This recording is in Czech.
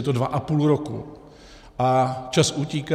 Je to dva a půl roku a čas utíká.